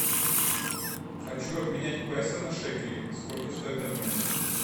хочу обменять песо на шекели сколько стоит обмен